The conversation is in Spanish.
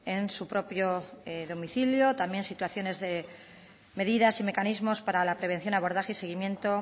en su propio domicilio también situaciones de medidas y mecanismos para la prevención abordaje y seguimiento